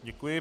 Děkuji.